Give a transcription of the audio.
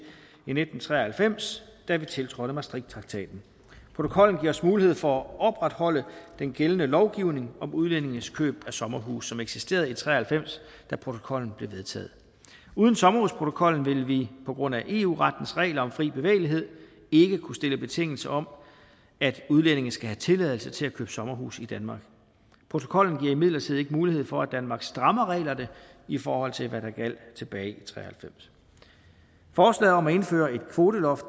i nitten tre og halvfems da vi tiltrådte maastrichttraktaten protokollen giver os mulighed for at opretholde den gældende lovgivning om udlændinges køb af sommerhuse som eksisterede i nitten tre og halvfems da protokollen blev vedtaget uden sommerhusprotokollen vil vi på grund af eu rettens regler om fri bevægelighed ikke kunne stille betingelse om at udlændinge skal have tilladelse til at købe sommerhus i danmark protokollen giver imidlertid ikke mulighed for at danmark strammer reglerne i forhold til hvad der gjaldt tilbage i nitten tre og halvfems forslaget om at indføre et kvoteloft